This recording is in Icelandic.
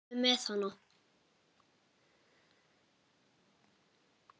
Farðu með hana.